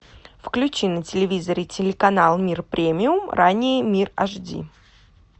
включи на телевизоре телеканал мир премиум ранее мир аш ди